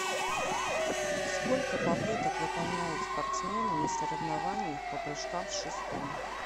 сколько попыток выполняют спортсмены на соревнованиях по прыжкам с шестом